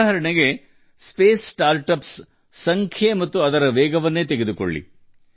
ಉದಾಹರಣೆಗೆ ಸ್ಪೇಸ್ ಸ್ಟಾರ್ಟ್ಅಪ್ಗಳ ಬಾಹ್ಯಾಕಾಶ ನವೋದ್ಯಮಗಳ ಸಂಖ್ಯೆ ಮತ್ತು ವೇಗವನ್ನು ಗಮನಿಸಿ